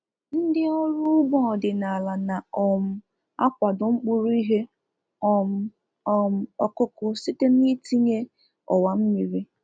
Ndị ọrụ ugbo ọdịnala na um akwado mkpụrụ ihe um um ọkụkụ site na itinye ọwa mmiri